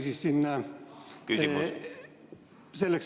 Küsimus!